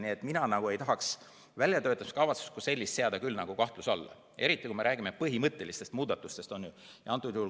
Seega, mina ei tahaks väljatöötamiskavatsust kui sellist küll seada kahtluse alla, eriti kui me räägime põhimõttelistest muudatustest.